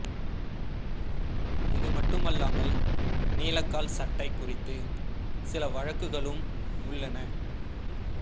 இது மட்டுமல்லாமல் நீலக்கால் சட்டை குறித்து சில வழக்குகளும் உள்ளன